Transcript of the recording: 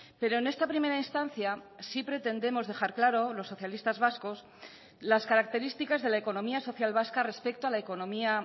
pero en esta primera instancia sí pretendemos dejar claro los socialistas vascos las características de la economía social vasca respecto a la economía